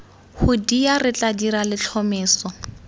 hoodia re tla dira letlhomeso